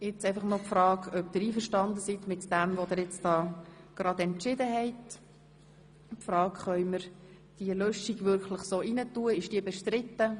Können wir diese ins Gesetz übernehmen oder ist sie bestritten?